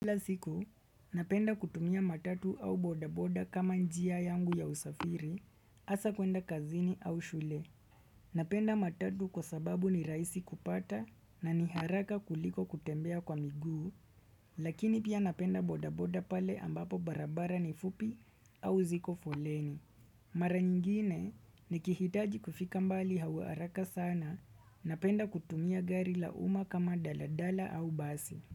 Kila siku, napenda kutumia matatu au bodaboda kama njia yangu ya usafiri, asa kwenda kazini au shule. Napenda matatu kwa sababu ni rahisi kupata na ni haraka kuliko kutembea kwa miguu, lakini pia napenda bodaboda pale ambapo barabara ni fupi au ziko foleni. Mara nyingine nikihitaji kufika mbali hau haraka sana, napenda kutumia gari la uma kama daladala au basi.